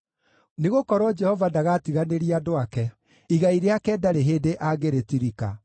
Nĩgũkorwo Jehova ndagatiganĩria andũ ake; igai rĩake ndarĩ hĩndĩ angĩrĩtirika.